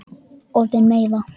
Orðin meiða.